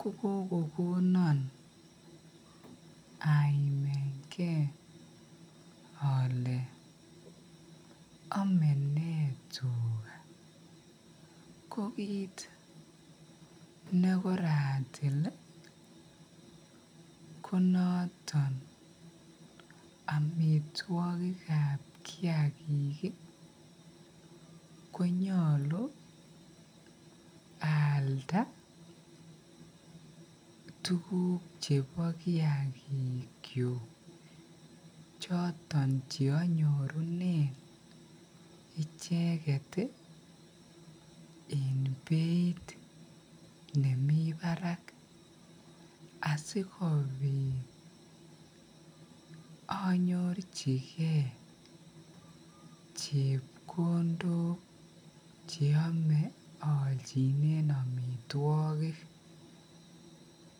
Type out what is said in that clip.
kogokogonon aimengeole amenee tuga kokiit nekoratil konoton amitwakik ab kiyakik konyalu alda tuguk ab kiyakik choton che anyorunen icheget en beit nemiten barak asikobit anyorchigee chepkondok olchinen amitwakik